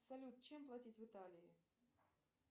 салют чем платить в италии